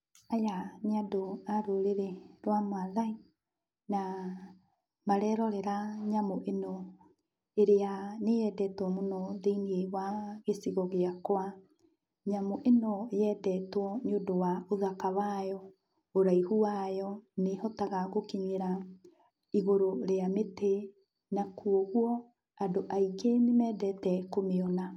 Aya nĩ ndũ a rũrĩrĩ rwa Mathai, na marerorera nyamũ ĩno, ĩrĩa nĩyendetwo mũno thĩiniĩ wa gĩcigo gĩakwa. Nyamũ ĩno yendetwo nĩ ũndũ wa ũthaka wayo, ũraihu wayo, nĩhotaga gũkinyĩra igũrũ rĩa mĩtĩ, na kuoguo andũ aingĩ nĩmendete kũmĩona.